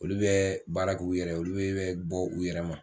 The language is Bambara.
Olu bɛ baara k'u yɛrɛ ye olu bɛ bɛ bɔ u yɛrɛ ma